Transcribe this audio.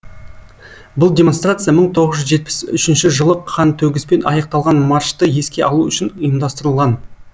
бұл демонстрация мың тоғыз жүз жетпіс үшінші жылы қантөгіспен аяқталған маршты еске алу үшін ұйымдастырылған